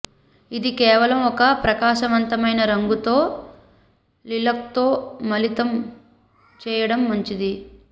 ఇది కేవలం ఒక ప్రకాశవంతమైన రంగుతో లిలక్తో మిళితం చేయడం మంచిది